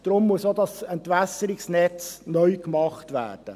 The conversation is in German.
Deshalb muss auch das Entwässerungsnetz neu gemacht werden.